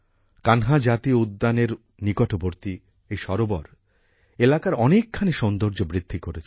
কানহা জাতীয় উদ্যানের নিকটবর্তী এই সরোবর এলাকার অনেকখানি সৌন্দর্য বৃদ্ধি করেছে